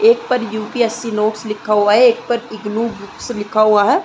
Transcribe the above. एक पर UPSC notes लिखा हुआ है। एक पर इगनू बुक्स लिखा हुआ है।